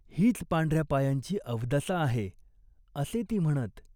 हीच पांढऱ्या पायांची अवदसा आहे, असे ती म्हणत.